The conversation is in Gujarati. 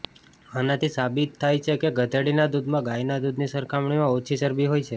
આનાથી સાબિત થાય છે કે ગધેડીના દૂધમાં ગાયના દૂધની સરખામણીમાં ઓછી ચરબી હોય છે